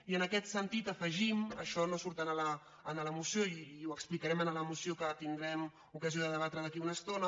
i en aquest sentit afegim això no surt a la moció i ho explicarem en la moció que tindrem ocasió de debatre d’aquí a una estona